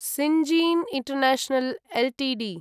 Syngene international Ltd